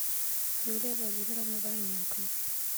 юлия владимировна вороненко